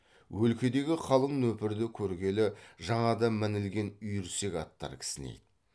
өлкедегі қалың нөпірді көргелі жаңада мінілген үйірсек аттар кісінейді